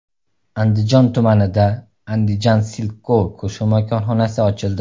Andijon tumanida Andijan Silk.Co qo‘shma korxonasi ochildi.